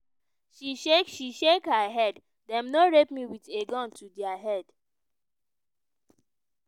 she shake she shake her head: "dem no rape me with a gun to dia head.